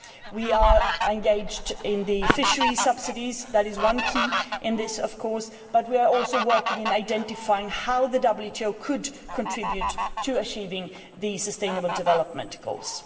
We are engaged in the fisheries subsidies. That is one key in this, of course, but we are also working on identifying how the WTO could contribute to achieving the Sustainable Development Goals.